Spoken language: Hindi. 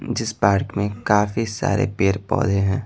जिस पार्क में काफी सारे पेड़-पौधे हैं।